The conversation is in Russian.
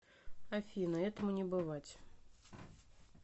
афина этому не бывать